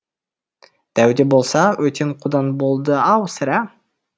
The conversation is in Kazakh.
дәуде болса өтен қудан болды ау сірә